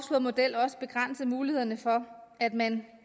model også begrænse mulighederne for at man